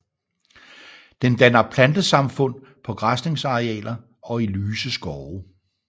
Den danner plantesamfund på græsningsarealer og i lyse skove